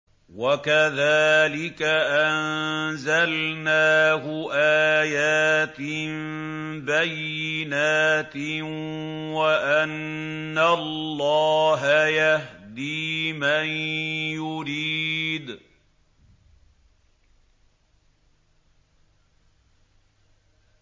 وَكَذَٰلِكَ أَنزَلْنَاهُ آيَاتٍ بَيِّنَاتٍ وَأَنَّ اللَّهَ يَهْدِي مَن يُرِيدُ